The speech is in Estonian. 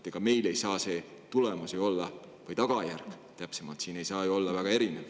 Ega meil ei saa see tulemus või täpsemalt tagajärg siin olla ju väga erinev.